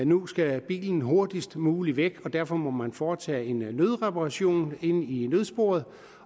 nu skal bilen hurtigst muligt væk og derfor må man kun foretage en nødreparation i nødsporet